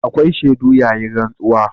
Akwai shaidu yayin rantsuwa.